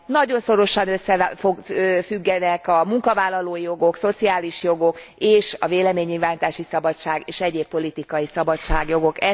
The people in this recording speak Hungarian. Nagyon szorosan összefüggenek a munkavállalói jogok, szociális jogok és a véleménynyilvánítási szabadság és egyéb politikai szabadságjogok.